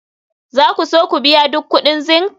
za ku so ku biya duk kuɗin zinc?